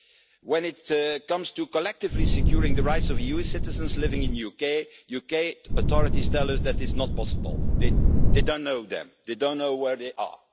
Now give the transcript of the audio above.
Well, when it comes to collectively securing the rights of EU citizens living in the UK, the UK authorities tell us it is not possible they don't know them and they don't know where they